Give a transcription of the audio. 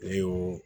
Ne y'o